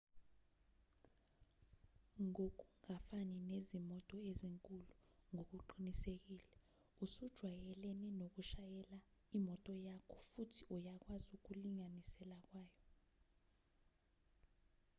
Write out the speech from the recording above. ngokungafani nezimoto ezinkulu ngokuqinisekile usujwayelene nokushayela imoto yakho futhi uyakwazi ukulinganisela kwayo